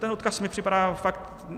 Ten odkaz mi připadá fakt...